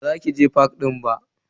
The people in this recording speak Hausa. Ba za ki je fak din ba.